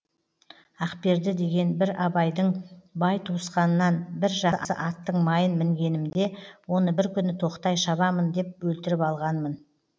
ақберді деген бір абайдың бай туысқанынан бір жақсы аттың майын мінгенімде оны бір күні тоқтай шабамын деп өлтіріп алғанмын